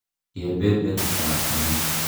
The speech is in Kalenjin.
Kepepertap ni.